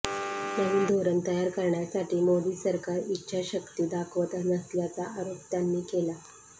नवीन धोरण तयार करण्यासाठी मोदी सरकार इच्छाशक्ती दाखवत नसल्याचा आरोप त्यांनी केला